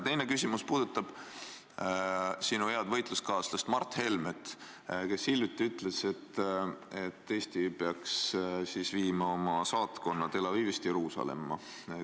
Teine küsimus puudutab sinu head võitluskaaslast Mart Helmet, kes hiljuti ütles, et Eesti peaks viima oma saatkonna Tel Avivist Jeruusalemma.